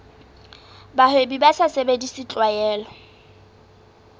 bahwebi ba sa sebedise tlwaelo